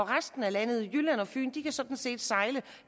resten af landet jylland og fyn kan sådan set sejle